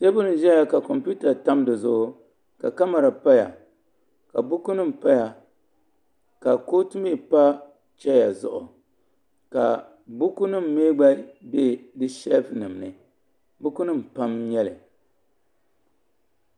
teebuli n ʒɛya ka kompiuta tam dizuɣu ka kamɛra paya ka buku nim paya ka kootu mii pa chɛya zuɣu ka buku nim mii gba bɛ di sheelf nim ni buku nim pam n nyɛli